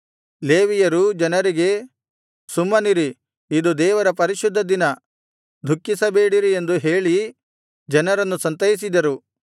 ಲೇವಿಯರೂ ಜನರಿಗೆ ಸುಮ್ಮನಿರಿ ಇದು ದೇವರ ಪರಿಶುದ್ಧ ದಿನ ದುಃಖಿಸಬೇಡಿರಿ ಎಂದು ಹೇಳಿ ಜನರನ್ನು ಸಂತೈಸಿದರು